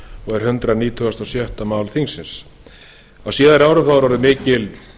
og er hundrað nítugasta og sjötta mál þingsins á síðari árum hefur orðið mikil